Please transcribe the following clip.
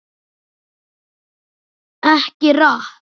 EKKI RAPP!!